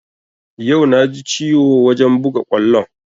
Yau na ji ciwo wajen buga kwallon